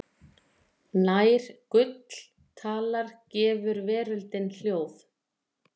Nær gull talar gefur veröldin hljóð.